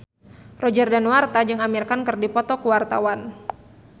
Roger Danuarta jeung Amir Khan keur dipoto ku wartawan